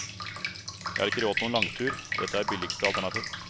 Jeg har ikke råd til noen langtur, og dette er billigste alternativ.